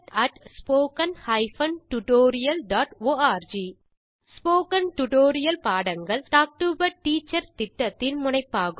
contact spoken hyphen tutorial dot org spoken tutorial பாடங்கள் talk to a teacher திட்டத்தின் முனைப்பாகும்